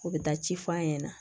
U bɛ taa ci f'an ɲɛna